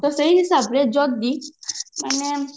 ତ ସେଇ ହିସାବରେ ଯଦି ମାନେ